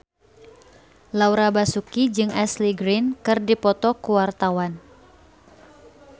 Laura Basuki jeung Ashley Greene keur dipoto ku wartawan